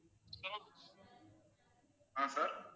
ஆஹ் sir